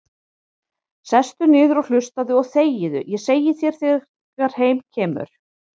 Sestu niður og hlustaðu og þegiðu, segi ég þegar heim kemur.